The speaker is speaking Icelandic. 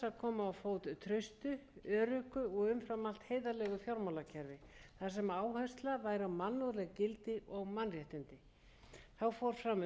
á fót traustu öruggu og umfram allt heiðarlegu fjármálakerfi þar sem áhersla væri á mannúðleg gildi og mannréttindi þá fór fram utandagskrárumræða um alþjóðlegu